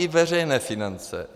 I veřejné finance.